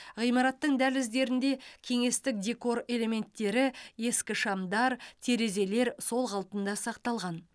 ғимараттың дәліздерінде кеңестік декор элементтері ескі шамдар терезелер сол қалпында сақталған